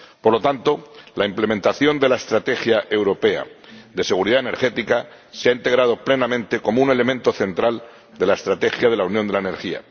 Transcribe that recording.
Por lo tanto, la implementación de la Estrategia Europea de Seguridad Energética se ha integrado plenamente como un elemento central de la Estrategia de la Unión de la Energía.